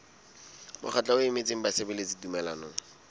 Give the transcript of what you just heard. mokgatlo o emetseng basebeletsi tumellanong